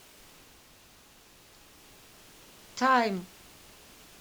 тайм